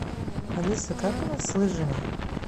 алиса как у нас с лыжами